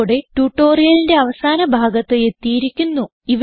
ഇതോടെ ട്യൂട്ടോറിയലിന്റെ അവസാന ഭാഗത്ത് എത്തിയിരിക്കുന്നു